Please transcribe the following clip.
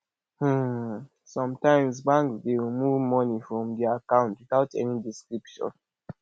um sometimes banks de remove money from di account without any description